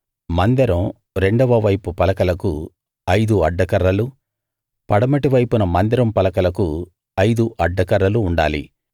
మందిరం రెండవ వైపు పలకలకు ఐదు అడ్డ కర్రలు పడమటి వైపున మందిరం పలకలకు ఐదు అడ్డ కర్రలు ఉండాలి